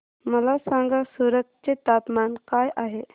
मला सांगा सूरत चे तापमान काय आहे